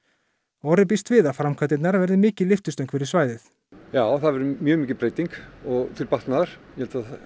Orri býst við að framkvæmdirnar verði mikil lyftistöng fyrir svæðið já það verður mjög mikil breyting til batnaðar ég held að